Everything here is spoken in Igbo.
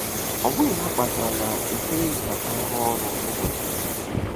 Ọ bụghị ha kpatara na e kweghị ka ha rụọ ọrụ ụbọchị dum.